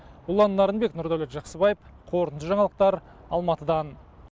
ұлан нарынбек нұрдәулет жақсыбаев қорытынды жаңалықтар алматыдан